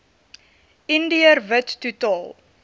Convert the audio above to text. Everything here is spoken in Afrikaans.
indiër wit totaal